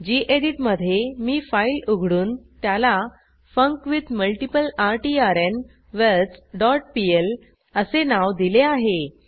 geditमधे मी फाईल उघडून त्याला फंक्विथमल्टीप्लर्टर डॉट पीएल असे नाव दिले आहे